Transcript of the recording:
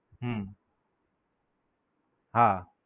હમ હા.